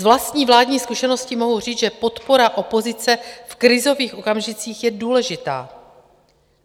Z vlastní vládní zkušenosti mohu říct, že podpora opozice v krizových okamžicích je důležitá.